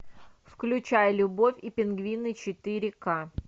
включай любовь и пингвины четыре ка